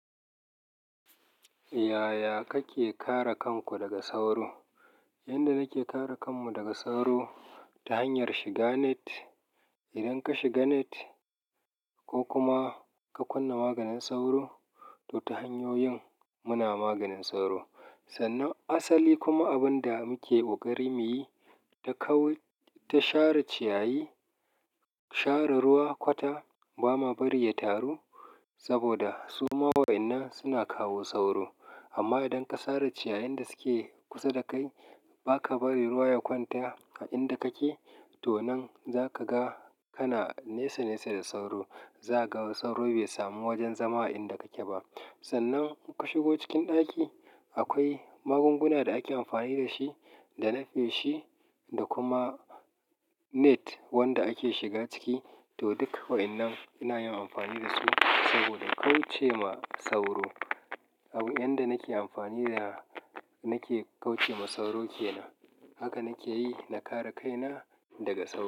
Yaya kake kare kanku daga sauro? Yanda nake kare kanku daga sauro ta hanyar shiga net. Idan ka shiga net ko kuma ka kunna maganin sauro, to ta hanyoyin muna maganin sauro. Sannan asali kuma abin da muke ƙoƙari muyi ta kawu, ta share ciyayi, share ruwa kwata ba ma bari ya taru saboda su ma wa'inna suna kawo sauro. Amma idan ka sare ciyayin da suke kusa da kai ba ka bari ruwa ya kwanta a inda kake, to nan za ka ga kana nesa nesa da sauro. Za ga sauro bai samu wajen zama a inda kake ba. Sannan ka shigo cikin ɗaki akwai magunguna da ake amfani da shi, da nafe shi da kuma net wanda ake shiga ciki to duk wa'innan ina yin amfani da su saboda kauce ma sauro. Abu yanda nake amfani da nake kauce ma sauro ke nan. Haka nake yi na kare kaina daga sauro.